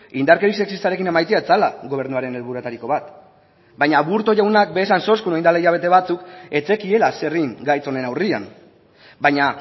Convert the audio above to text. indarkeria sexistarekin amaitzea zela gobernuaren helburuetariko bat baina aburto jaunak baita esan zuen orain dela hilabete batzuk ez zekiela zer egin gaitz honen aurrean baina